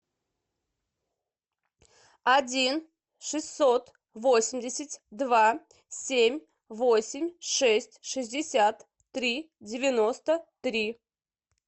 один шестьсот восемьдесят два семь восемь шесть шестьдесят три девяносто три